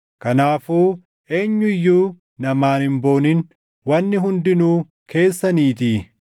Kanaafuu eenyu iyyuu namaan hin booniin! Wanni hundinuu keessaniitii;